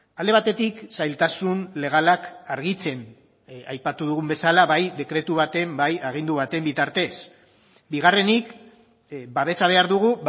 alde batetik zailtasun legalak argitzen aipatu dugun bezala bai dekretu baten bai agindu baten bitartez bigarrenik babesa behar dugu